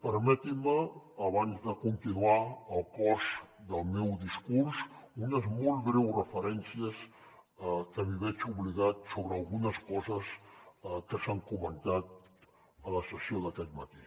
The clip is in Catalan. permetin me abans de continuar el cos del meu discurs unes molt breu referències que m’hi veig obligat sobre algunes coses que s’han comentat a la sessió d’aquest matí